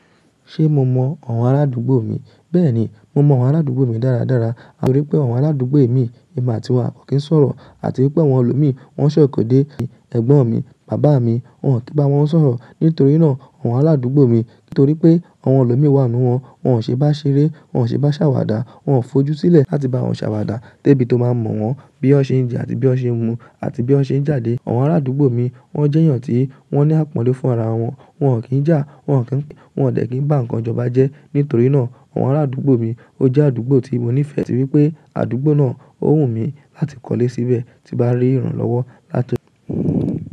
Ṣé mo mọn àwọn araádúgbò mi? Bẹ́ẹ̀ni, mo mọ àwọn arádúgbò mi dára dára, nítorí pé àwọn arádúgbò mi ni ìgbà tí wá kò kí n sọ̀rọ̀ àti wípé àwọn ọlọ́mìí wọn ń ṣẹ̀kọ̀ dé, ẹ̀gbọ́n mi, bàbá mi, wọn kò tíì bá wọn sọ̀rọ̀. Nítorí náà àwọn arádúgbò mi, nítorí pé àwọn ọlọ́mìí wà nínú wọn, wọn ò ṣe bá ṣeré, wọn ò ṣe bá ṣàwàdà, wọn fojú sílẹ̀ láti bá wọn ṣàwàdà tó bí tó máa mọ̀ wọ́n bí ọ je àti bí ọ ṣe ń mu àti bí ọ ṣe ń jáde. Àwọn arádúgbò mi wọ́n jẹ́ èèyàn tí wọ́n ní àpọ́nle fún ara wọn, wọn ò kí ń jà, wọn ò kí ń, wọn ò dẹ̀ kí bá nǹkan jọba jẹ́. Nítorí náà àwọn arádúgbò mi ó jẹ́ àdúgbò tí mo nífẹ̀ẹ́ àti wípé àdúgbò náà ó wù mí láti kọ́lé síbẹ̀ tí bá rí ìrànlọ́wọ́ láti ọdọ̀